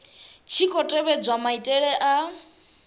tshi khou tevhedzwa maitele a